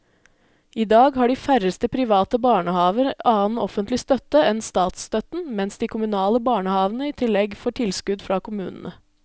I dag har de færreste private barnehaver annen offentlig støtte enn statsstøtten, mens de kommunale barnehavene i tillegg får tilskudd fra kommunene.